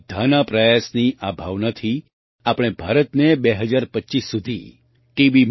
બધાના પ્રયાસની આ ભાવનાથી આપણે ભારતને 2025 સુધી ટી